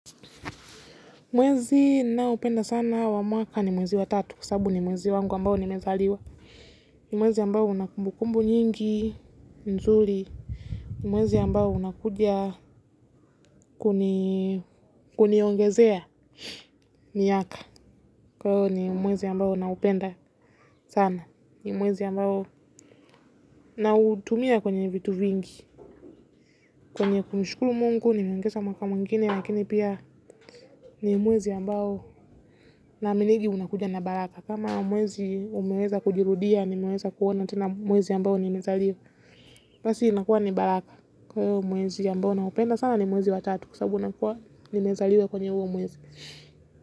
Mwezi ninaopenda sana wa mwaka ni mwezi wa tatu, kwa sababu ni mwezi wangu ambao nimezaliwa. Ni mwezi ambao una kumbukumbu nyingi, nzuri. Ni mwezi ambao unakuja kuniongezea miaka. Kwa hivyo ni mwezi ambao ninaupenda sana. Ni mwezi ambao nautumia kwenye vitu vingi. Kwenye kumshukuru mungu nimeongeza mwaka mwengine, lakini pia ni mwezi ambao ninaaminingi unakuja na baraka. Kama mwezi umeweza kujirudia nimeweza kuona tena mwezi ambao nimezaliwa. Basi inakuwa ni baraka kwa hiyo mwezi ambao naupenda sana ni mwezi wa tatu kwa sababu nakuwa nimezaliwa kwenye huo mwezi.